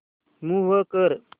move कर